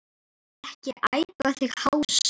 Ekki æpa þig hása!